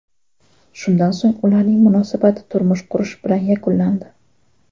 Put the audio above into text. Shundan so‘ng ularning munosabati turmush qurish bilan yakunlandi.